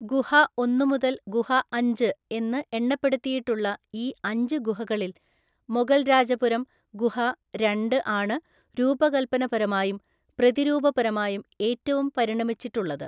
ഗുഹ ഒന്ന് മുതൽ ഗുഹ അഞ്ച് എന്ന് എണ്ണപ്പെടുത്തിയിട്ടുള്ള ഈ അഞ്ച് ഗുഹകളിൽ മൊഗൽരാജപുരം ഗുഹ രണ്ട് ആണ് രൂപകൽപ്പനപരമായും പ്രതിരൂപപരമായും ഏറ്റവും പരിണമിച്ചിട്ടുള്ളത്.